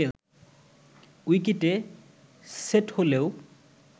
উইকেটে সেট হলেও